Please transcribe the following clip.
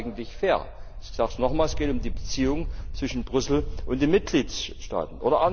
Ist das eigentlich fair? Ich sage es noch einmal Es geht um die Beziehung zwischen Brüssel und den Mitgliedstaaten.